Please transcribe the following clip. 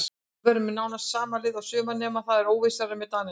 Við verðum með nánast sama lið og í sumar nema það er óvissa með Danina.